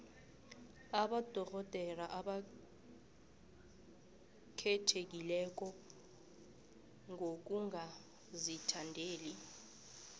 abodorhodere abakhethekileko ngokungazithandeli